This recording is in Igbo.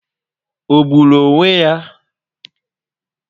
Ọ gburu onwe ya?